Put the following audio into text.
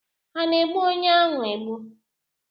Ha ana-egbu onye ahu egbu?